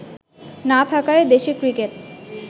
না থাকায় দেশের ক্রিকেট